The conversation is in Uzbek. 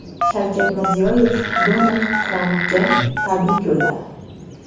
Shavkat Mirziyoyev Donald Trampga tabrik yo‘lladi.